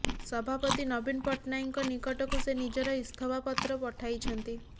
ସଭାପତି ନବୀନ ପଟ୍ଟନାୟକଙ୍କ ନିକଟକୁ ସେ ନିଜର ଇସ୍ତଫା ପତ୍ର ପଠାଇଛନ୍ତି